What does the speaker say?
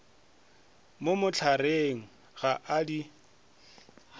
mo mohlareng ga a di